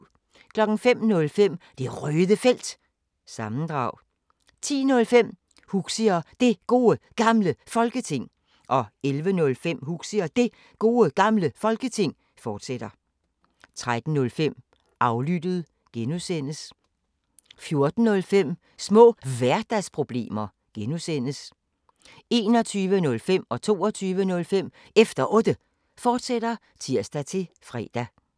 05:05: Det Røde Felt – sammendrag 10:05: Huxi og Det Gode Gamle Folketing 11:05: Huxi og Det Gode Gamle Folketing, fortsat 13:05: Aflyttet (G) 14:05: Små Hverdagsproblemer (G) 21:05: Efter Otte, fortsat (tir-fre) 22:05: Efter Otte, fortsat (tir-fre)